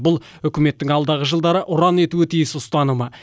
бұл үкіметтің алдағы жылдары ұран етуі тиіс ұстанымы